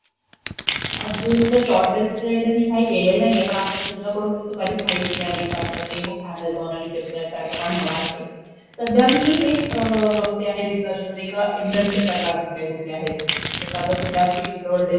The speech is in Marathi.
not clear सीएनजी आणि इलेक्ट्रॉनिक्स आलेला आहेत, हे ना....तर आपले गरजेनुसार ठरवावं लागेल, कुठल्या इंधनांचा प्रकार चालेल, ते लॉंग टूर पाहिजे आपल्यासाठी ऑनरोडसाठी, ते सध्या आम्हाला डिसाइड करायचं आहे,